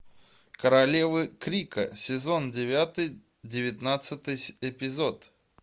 королевы крика сезон девятый девятнадцатый эпизод